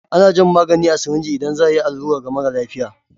Ana jan magani a sirinji idan za a yi allura ga mara lafiya.